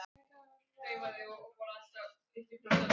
Að eigin mati.